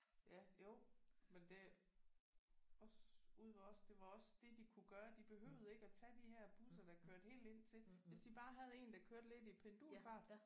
Ja jo men det også ude ved os det var også det de kunne gøre de behøvede ikke at tage de her busser der kørte helt ind til hvis de bare havde en der kørte lidt i pendulfart